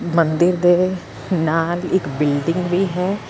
ਮੰਦਰ ਦੇ ਨਾਲ ਇੱਕ ਬਿਲਡਿੰਗ ਵੀ ਹੈ।